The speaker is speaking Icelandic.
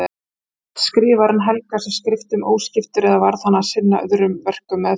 Gat skrifarinn helgað sig skriftum óskiptur eða varð hann að sinna öðrum verkum meðfram?